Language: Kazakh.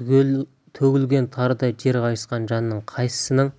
төгілген тарыдай жер қайысқан жанның қайсысының